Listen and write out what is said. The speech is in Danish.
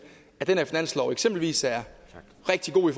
at den her finanslov eksempelvis er rigtig god i